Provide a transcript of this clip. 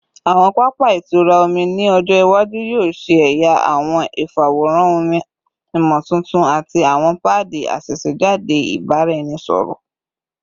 Awọn papa itura omi ni ọjọ iwaju yoo ṣe ẹya awọn ifaworanhan omi imotuntun ati awọn paadi asesejade ibaraenisepo